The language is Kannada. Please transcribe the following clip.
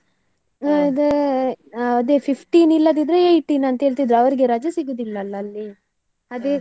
ಅದೇ ಅದೇ fifteen ಇಲ್ಲದಿದ್ರೆ eighteen ಅಂತೇಳ್ತಿದ್ರು ಅವರಿಗೆ ರಜೆ ಸಿಗುದಿಲ್ಲ ಅಲ್ಲ ಅಲ್ಲಿ ಅದೇ .